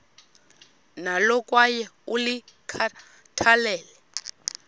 nalo kwaye ulikhathalele